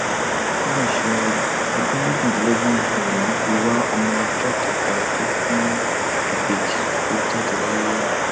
ó mà ṣe o ọdún méjìdínlógún lobìnrin yìí fi um wá ọmọ ọjọ kẹta tó bí ìbejì um lọ jáde láyé